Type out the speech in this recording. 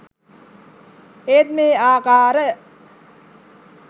ඒත් මේ ආකාර